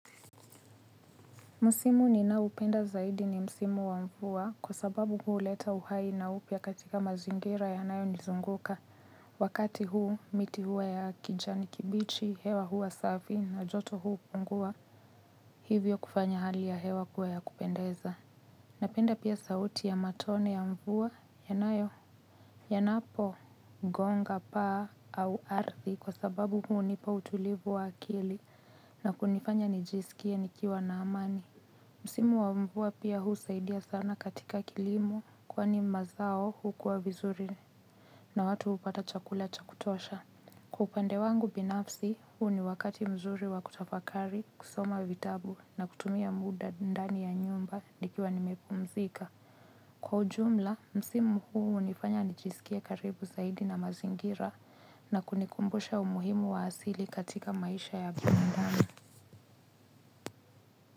Msimu ninaopenda zaidi ni msimu wa mvua kwa sababu huleta uhai na upya katika mazingira yanayonizunguka. Wakati huu miti huwa ya kijani kibichi hewa huwa safi na joto hupungua hivyo kufanya hali ya hewa kuwa ya kupendeza. Napenda pia sauti ya matone ya mvua yanayo yanapogonga paa au ardhi kwa sababu hunipa utulivu wa akili na kunifanya nijisikie nikiwa na amani. Msimu wa mvua pia husaidia sana katika kilimo kwani mazao hukua vizuri na watu hupata chakula cha kutosha. Kwa upande wangu binafsi huu ni wakati mzuri wa kutafakari kusoma vitabu na kutumia muda ndani ya nyumba nikiwa nimepumzika. Kwa ujumla, msimu huu hunifanya nijisikie karibu zaidi na mazingira na kunikumbusha umuhimu wa asili katika maisha ya binadamu.